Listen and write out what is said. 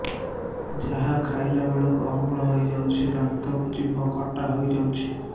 ଯାହା ଖାଇଲା ବେଳକୁ ଅମ୍ଳ ହେଇଯାଉଛି ଦାନ୍ତ ଜିଭ ଖଟା ହେଇଯାଉଛି